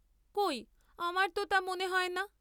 কই আমার তো তা মনে হয় না।